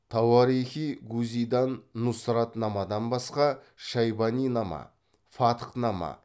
тауарихи гузидан нұсрат намадан басқа шайбани нама фатх нама